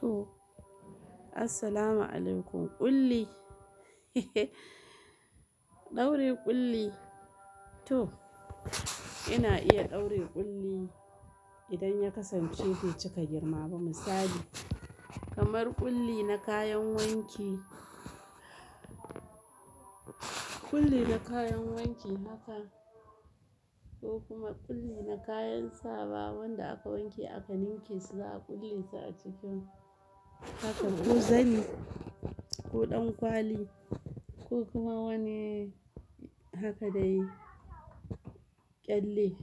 To. Assalamu alaikum. Ƙulli ɗaure ƙulli to ina iya ɗaure ƙulli idan ya kasance bai cika girma ba misali kamar ƙulli na kayan wanki, ƙulli na kayan wanki haka ko kuma ƙulli na kayan sawa wanda aka wanke aka ninke za a ƙulle su a ciki haka ko zani ko ɗan kwali ko kuma wani haka dai ƙyalle